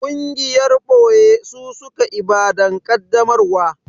Gungiyar ɓoye su suka Ibadan kaddamarwa